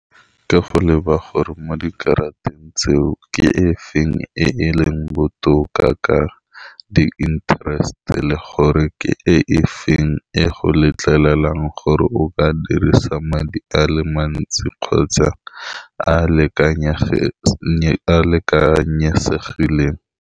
Ka go leba gore, mo dikaratang tseo, ke e feng e e leng botoka ka di-interest-e, le gore ke e efeng e e go letlelelang gore o ka dirisa madi a le mantsi kgotsa a a a a lekanyesegileng.